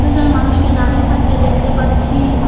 কয়েকজন মানুষকে দাঁড়িয়ে থাকতে দেখতে পাচ্ছি।